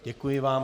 Děkuji vám.